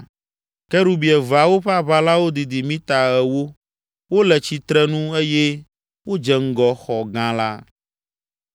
Kerubi eveawo ƒe aʋalawo didi mita ewo. Wole tsitrenu eye wodze ŋgɔ xɔ gã la.